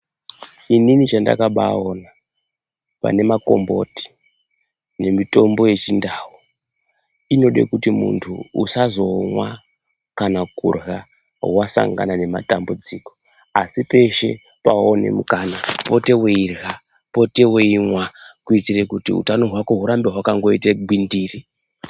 Inini chandakambaona pane makomboti nemitombo yechindau inode kuti muntu usamirire kuzomwa kana kurya wasangana nematambudziko asi peshe pewawana mukana upote weirya, upote weimwa kuitire utano hwako hurambe hwakangogwindiri.